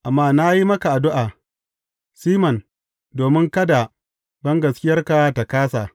Amma na yi maka addu’a, Siman, domin kada bangaskiyarka ta kāsa.